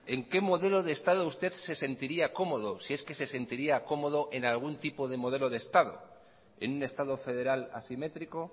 en qué modelo de estado usted se sentiría cómodo si es que se sentiría cómodo en algún tipo de modelo de estado en un estado federal asimétrico